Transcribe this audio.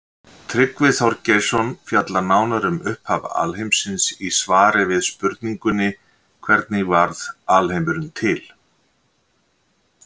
Tryggvi Þorgeirsson fjallar nánar um upphaf alheimsins í svari við spurningunni Hvernig varð alheimurinn til?